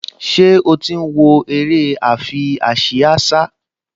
Ṣé ó ti ń wo eré àfiásíásá?